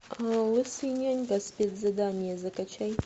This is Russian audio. лысый нянька спецзадание закачай